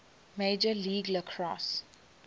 major league lacrosse